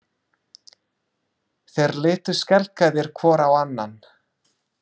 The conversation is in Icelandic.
Þeir litu skelkaðir hvor á annan.